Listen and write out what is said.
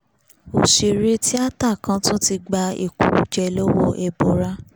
ọ̀sẹ̀rẹ̀ tíáta kan tún ti gba ẹ̀kùrùjẹ lọ́wọ́ ẹbọra